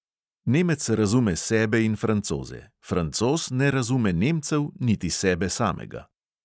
Nemec razume sebe in francoze, francoz ne razume nemcev niti sebe samega.